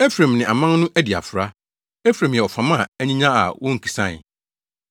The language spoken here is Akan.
“Efraim ne aman no adi afra; Efraim yɛ ɔfam a anyinya a wonkisae.